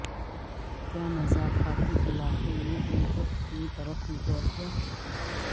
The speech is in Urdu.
کیا مضافاتی علاقے میں ان کو اپنی طرف متوجہ